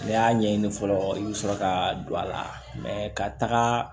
N'i y'a ɲɛɲini fɔlɔ i bɛ sɔrɔ ka don a la ka taga